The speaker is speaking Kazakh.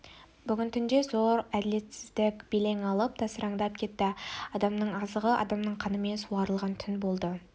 бүгін түнде де зор әділетсіздік белең алып тасыраңдап кетті адамның азығы адамның қанымен суарылған түн болды